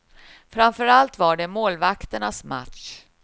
Framför allt var det målvakternas match.